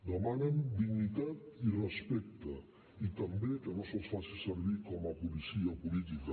demanen dignitat i respecte i també que no se’ls faci servir com a policia política